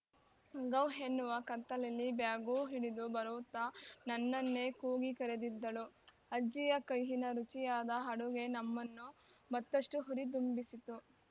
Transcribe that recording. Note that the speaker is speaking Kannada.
ಗವ್‌ ಎನ್ನುವ ಕತ್ತಲಲ್ಲಿ ಬ್ಯಾಗೂ ಹಿಡಿದು ಬರುತ್ತಾ ನನ್ನನ್ನೇ ಕೂಗಿ ಕರೆದಿದ್ದಳು ಅಜ್ಜಿಯ ಕೈಯಿನ ರುಚಿಯಾದ ಅಡುಗೆ ನಮ್ಮನ್ನು ಮತ್ತಷ್ಟುಹುರಿದುಂಬಿಸಿತು